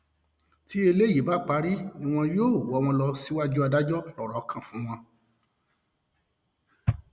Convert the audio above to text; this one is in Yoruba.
tí eléyìí bá parí ni wọn yóò wọ wọn lọ síwájú adájọ lọrọ kan fún wọn